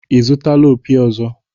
Ị zụtala opi ọzọ?